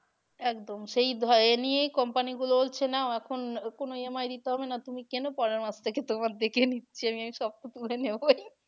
একদম সেই এ নিয়েই company গুলো বলছে না এখন কোনো EMI দিতে হবে না তুমি কেনো পরের মাস থেকে তোমার দেখে নিচ্ছি আমি, আমি সব তো তুলে নেবোই